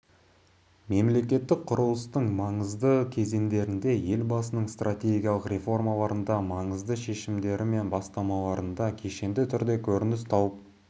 мемлекеттік құрылыстың маңызды кезеңдерінде елбасының стратегиялық реформаларында маңызды шешімдері мен бастамаларында кешенді түрде көрініс тауып